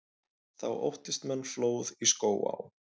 Þá óttist menn flóð í Skógaá.